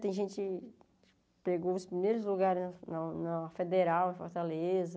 Tem gente que pegou os primeiros lugares na na Federal, Fortaleza.